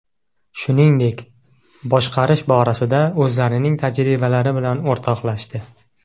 Shuningdek, boshqarish borasida o‘zlarining tajribalari bilan o‘rtoqlashdi.